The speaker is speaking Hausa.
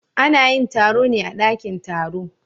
Ana yin taro ne a dakin taro.